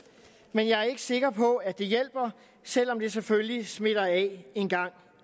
men jeg er ikke sikker på at det hjælper selv om det selvfølgelig smitter af en gang